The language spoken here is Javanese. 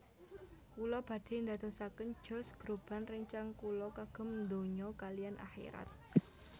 Kula badhe ndadosaken Josh Groban rencang kula kagem donya kaliyan akhirat